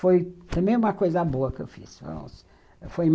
Foi foi também uma coisa boa que eu fiz.